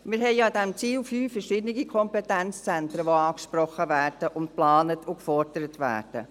Wir haben mit dem Ziel 5 verschiedene Kompetenzzentren, die angesprochen, geplant und gefordert werden.